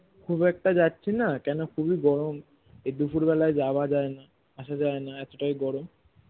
খুব একটা যাচ্ছি না কেন খুবই গরম এই দুপুর বেলায় যাওয়া যায় না আসা যায় না এতটাই গরম